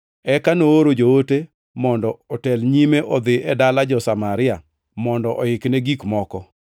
Eka nooro joote mondo otel nyime odhi e dala jo-Samaria mondo oikne gik moko;